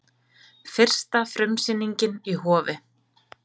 Fyrsta frumsýningin í Hofi